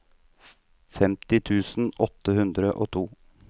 femti tusen åtte hundre og to